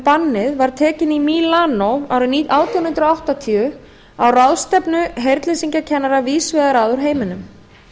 bannið var tekin í mílanó árið átján hundruð áttatíu á ráðstefnu heyrnleysingjakennara víðs vegar að úr heiminum